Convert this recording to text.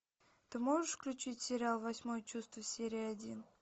ты можешь включить сериал восьмое чувство серия один